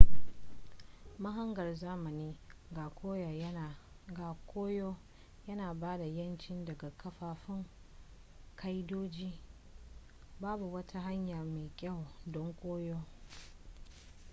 mahangar zamanin ga koyo yana ba da 'yanci daga kafaffun ƙa'idoji babu wata hanya mai kyau don koyo